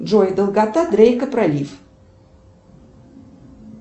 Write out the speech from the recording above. джой долгота дрейка пролив